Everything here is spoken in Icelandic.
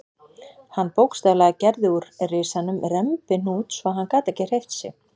Hann bókstaflega gerði úr risanum rembihnút svo að hann gat ekki hreyft sig.